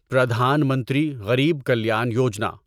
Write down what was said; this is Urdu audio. پردھان منتری غریب کلیان یوجنا